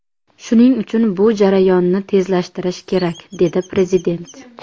Shuning uchun bu jarayonni tezlashtirish kerak dedi Prezident.